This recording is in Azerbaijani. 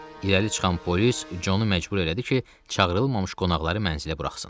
İrəli çıxan polis Conu məcbur elədi ki, çağırılmamış qonaqları mənzilə buraxsın.